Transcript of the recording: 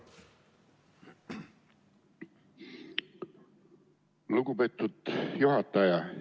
Lugupeetud juhataja!